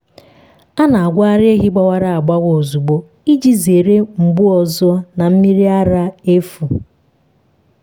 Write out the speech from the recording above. a na-agwọ ara ehi gbawara agbawa ozugbo iji zere mgbu ọzọ na mmiri ara efu.